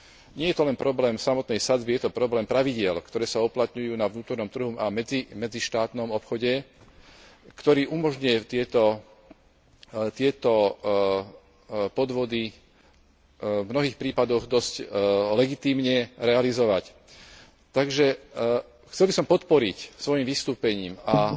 Nie je to len problém samotnej sadzby, je to problém pravidiel, ktoré sa uplatňujú na vnútornom trhu a v medzištátnom obchode, ktorý umožňuje tieto podvody v mnohých prípadoch dosť legitímne realizovať. Takže chcel by som podporiť svojim vystúpením a